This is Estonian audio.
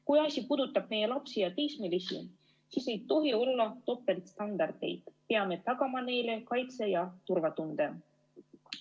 Kui asi puudutab meie lapsi ja teismelisi, siis ei tohi olla topeltstandardeid, me peame tagama neile kaitse ja turvatunde.